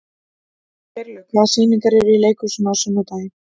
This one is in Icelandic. Geirlaug, hvaða sýningar eru í leikhúsinu á sunnudaginn?